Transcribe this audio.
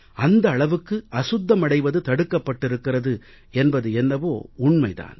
அந்த அளவுக்கு அசுத்தமடைவது தடுக்கப்பட்டிருக்கிறது என்பது என்னவோ உண்மை தான்